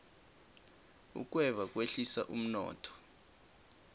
ukweba kwehlisa umnotho